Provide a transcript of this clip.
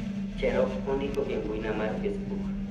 Cherop ondiko e mbuina mar facebook